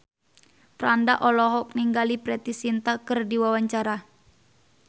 Franda olohok ningali Preity Zinta keur diwawancara